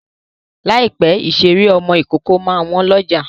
Láìpẹ́ ìṣeré ọmọ ìkókó máa wọ́n lọ́jà.